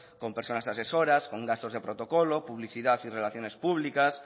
con personas asesoras con gastos de protocolo publicidad y relaciones públicas